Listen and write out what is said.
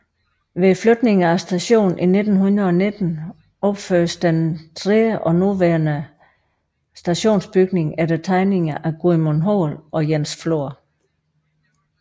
Ved flytningen af stationen i 1919 opførtes den tredje og nuværende stationsbygning efter tegninger af Gudmund Hoel og Jens Flor